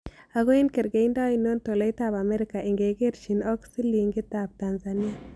Ago eng' kergeindo ainon tolaitap amerika ingerchin ak silingiitap tanzania